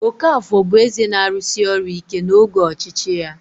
Okafor bụ eze na-arụsi ọrụ ike n'oge ọchịchị ya.